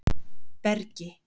Bergi